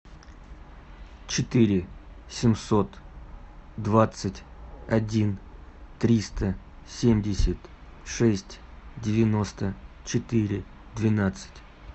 четыре семьсот двадцать один триста семьдесят шесть девяносто четыре двенадцать